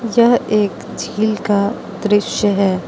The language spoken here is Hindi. यह एक झील का दृश्य है।